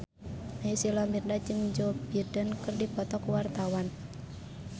Naysila Mirdad jeung Joe Biden keur dipoto ku wartawan